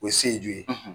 O ye seju ye